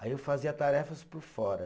Aí eu fazia tarefas por fora.